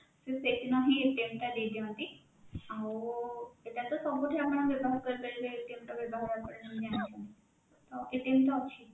ସେ ସେଇ ଦିନ ହିଁ ଟା ଦେଇଦିଅନ୍ତି ଆଉ ଏଇଟା ତ ଆପଣ ସବୁଠି ବ୍ୟବହାର କରିପାରିବେ ର ବ୍ୟବହାର ଆପଣ ତ ଜାଣିଛନ୍ତି ତ କେତେ ଜିନିଷ ଅଛି